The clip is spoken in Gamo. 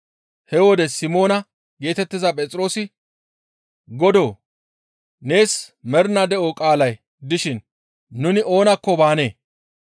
He wode Simoona geetettiza Phexroosi, «Godoo, nees mernaa de7o qaalay dishin nu oonakko baanee?